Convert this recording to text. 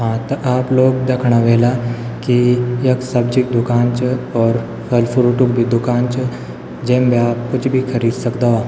हाँ त आप लोग द्यखणा ह्वेला की यख सब्जी क दूकान च और फल फ्रूट क् भी दुकान च जेम भी आप कुछ भी खरीद सक्दोवा।